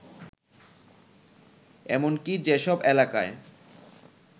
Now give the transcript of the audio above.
এমনকি যেসব এলাকায়